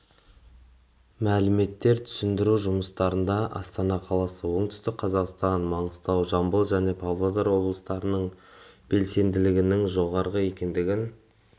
мәліметтер түсіндіру жұмыстарында астана қаласы оңтүстік қазақстан маңғыстау жамбыл және павлодар облыстарының белсенділігінің жоғары екендігін